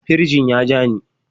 Firjin ya ja ni.